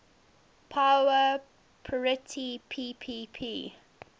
power parity ppp